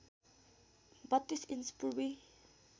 ३२ inch Purvi